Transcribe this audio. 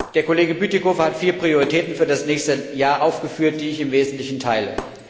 Der Kollege Bütikofer hat vier Prioritäten für das nächste Jahr aufgeführt, die ich im Wesentlichen teile.